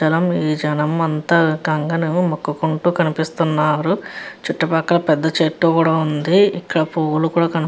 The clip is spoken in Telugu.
ఈ జనం అంతా గంగను మొక్కుకుంటూ కనిపిస్తున్నారు చుట్టూ పక్కల పెద్ద చెట్టు కూడా ఉంది. ఇక్కడ పూలు కూడా కనిపి --